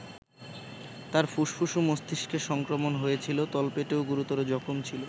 তাঁর ফুসফুস ও মস্তিষ্কে সংক্রমণ হয়েছিল, তলপেটেও গুরুতর জখম ছিল।